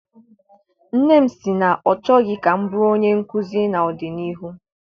Nne m si na ọ chọghị ka m bụrụ onye nkụzi ná-ọdịnihu.